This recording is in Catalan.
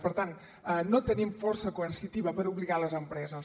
per tant no tenim força coercitiva per obligar les empreses